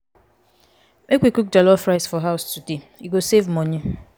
make we cook jollof rice for house today e go save money.